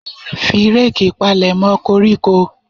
Fi reeki palemo koríko.